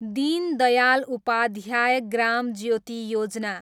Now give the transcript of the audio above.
Deen Dayal Upadhyaya Gram Jyoti Yojana